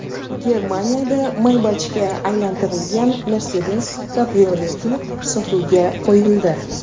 Germaniyada Maybach’ga aylantirilgan Mercedes kabrioleti sotuvga qo‘yildi.